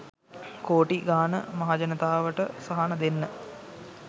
කෝටි ගාන මහජනතාවට සහන දෙන්න